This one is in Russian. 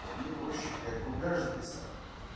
мне проще блять кругляш записать